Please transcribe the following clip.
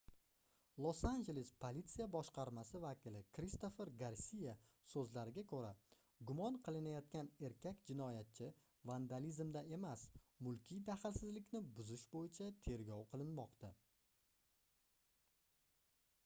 los-anjeles politsiya boshqarmasi vakili kristofer garsiya soʻzlariga koʻra gumon qilinayotgan erkak jinoyatchi vandalizmda emas mulkiy daxlsizlikni buzish boʻyicha tergov qilinmoqda